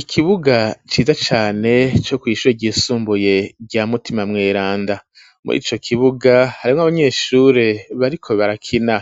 Ikibuga ciza cane co kw'ishure ryisumbuye rya mutima mweranda murico kibuga harimwo abanyeshure bariko barakina